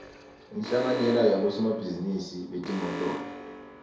inhlanganyela yabosomabhizinisi betimotolo